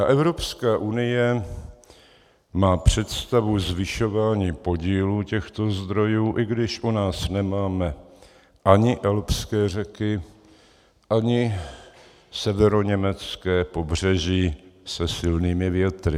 A Evropská unie má představu zvyšování podílu těchto zdrojů, i když u nás nemáme ani alpské řeky, ani severoněmecké pobřeží se silnými větry.